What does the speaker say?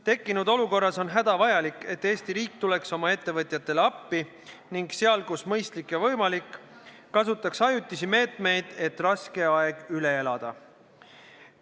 Tekkinud olukorras on hädavajalik, et Eesti riik tuleks oma ettevõtjatele appi ning kasutaks seal, kus mõistlik ja võimalik, ajutisi meetmeid, et raske aeg üle elada.